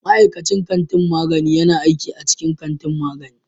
Ma'aikacin kantin magani yana aiki a cikin kantin magani